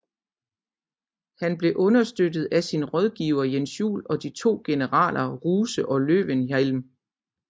Han blev understøttet af sin rådgiver Jens Juel og de to generaler Ruse og Löwenhielm